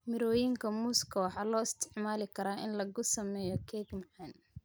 Mirooyinka muuska waxaa loo isticmaali karaa in lagu sameeyo keeg macaan.